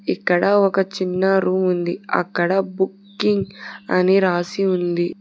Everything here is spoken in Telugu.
ఇక్కడ ఒక చిన్న రూమ్ ఉంది అక్కడ బుకింగ్ అని రాసి ఉంది.